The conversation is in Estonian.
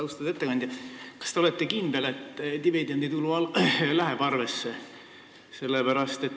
Austatud ettekandja, kas te olete kindel, et dividenditulu läheb arvesse?